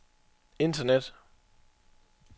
internet